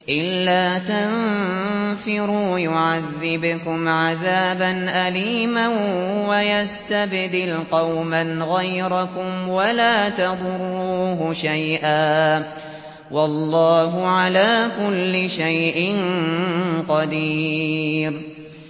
إِلَّا تَنفِرُوا يُعَذِّبْكُمْ عَذَابًا أَلِيمًا وَيَسْتَبْدِلْ قَوْمًا غَيْرَكُمْ وَلَا تَضُرُّوهُ شَيْئًا ۗ وَاللَّهُ عَلَىٰ كُلِّ شَيْءٍ قَدِيرٌ